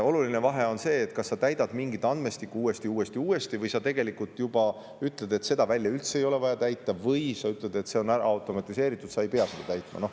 Oluline vahe on ka selles, kas sa täidad mingeid andmestikke uuesti, uuesti ja uuesti või sa tegelikult ütled, et mingit välja ei ole üldse vaja täita, või ütled, et see on ära automatiseeritud, seda ei pea täitma.